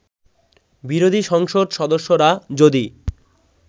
বিরোধী সংসদ সদস্যরা যদি